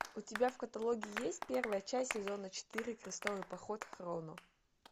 у тебя в каталоге есть первая часть сезона четыре крестовый поход хроно